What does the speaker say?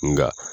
Nga